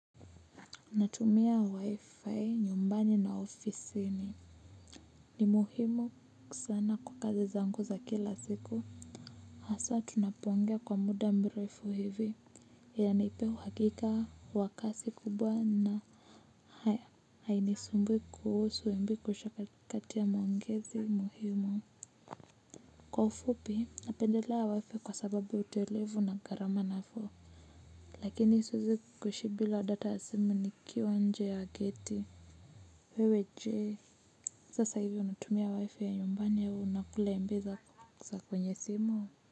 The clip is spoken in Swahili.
Natumia wi-fi nyumbani na ofisini. Ni muhimu kusana kwa kazi zangu za kila siku. Aswa tunapoongea kwa muda mrefu hivi. Inanipea uhakika wakasi kubwa na hai haini sumbui kuhusu mb kuisha katikati ya maongezi muhimu. Kwa ufupi napendelea wifi kwa sababu utelevu na garama nafuu. Lakini siwezi kuishi bila data ya simu nikiwa nje ya geti. Wewe jee, sasa hivi unatumia wifi ya nyumbani au unakula mb za kwenye simu.